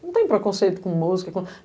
Não tem preconceito com música, com